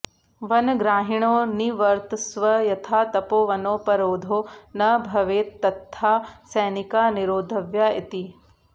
वनग्राहिणो निवर्तस्व यथा तपोवनोपरोधो न भवेत्तथा सैनिकाः निरोधव्याः इति